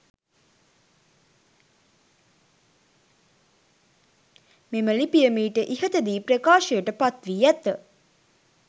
මෙම ලිපිය මීට ඉහත දී ප්‍රකාශයට පත් වී ඇත.